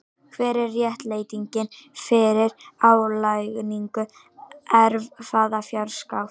Hver er réttlætingin fyrir álagningu erfðafjárskatts?